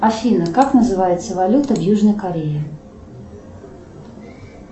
афина как называется валюта в южной корее